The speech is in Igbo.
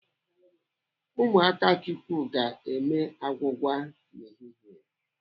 Ụmụ Akachukwu ga-eme agwụgwa n'ehihie.